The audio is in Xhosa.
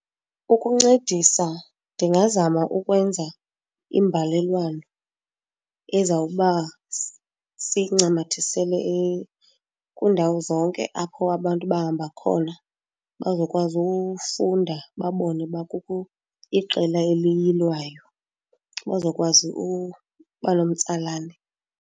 Ukuncedisa ndingazama ukwenza imbalelwano ezawuba siyincamathisele kwiindawo zonke apho abantu bahamba khona, bazokwazi ufunda babone uba kukho iqela eliyilwayo, bazokwazi uba nomtsalane.